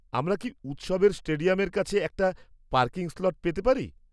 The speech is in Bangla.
আমরা কি উৎসবের স্টেডিয়ামের কাছে একটা পার্কিং স্লট পেতে পারি?